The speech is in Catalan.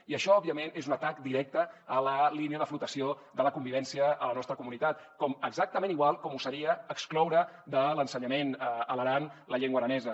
i això òbviament és un atac directe a la línia de flotació de la convivència a la nostra comunitat exactament igual com ho seria excloure de l’ensenyament a l’aran la llengua aranesa